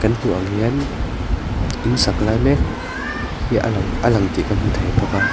kan hmuh ang hian insak lai mek hi a lang a lang tih kan hmu thei bawk a.